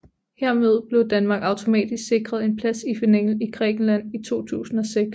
Hermed blev Danmark automatisk sikret en plads i finalen i Grækenland i 2006